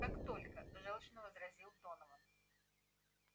как только жёлчно возразил донован